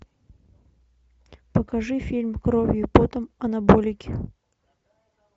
покажи фильм кровью и потом анаболики